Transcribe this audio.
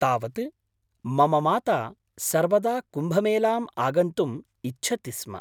तावत्, मम माता सर्वदा कुम्भमेलाम् आगन्तुम् इच्छति स्म।